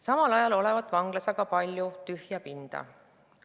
Samal ajal olevat ka vanglas palju tühja pinda.